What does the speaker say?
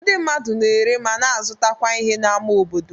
Ndị mmadụ na-ere, ma na-azụtakwa ihe n'ámá obodo.